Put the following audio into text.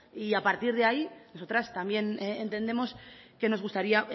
y a partir de ahí nosotras también entendemos que nos gustaría